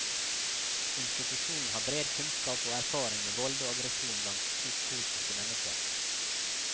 Institusjonen har bred kunneskap og erfaring med vold og aggresjon blant psykotiske mennesker.